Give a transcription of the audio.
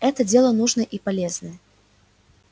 это дело нужное и полезное